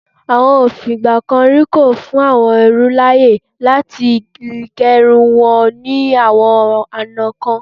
Àwọn òfin ìgbà kan rí kò fún àwọn ẹrú láàyè láti ge irun wọn ní àwọn ọ̀nà kan.